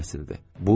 Nəfəsim kəsildi.